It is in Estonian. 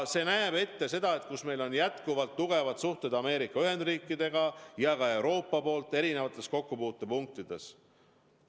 See näeb ette, et meil on jätkuvalt tugevad suhted Ameerika Ühendriikidega ja ka Euroopas erinevates kokkupuutepunktides.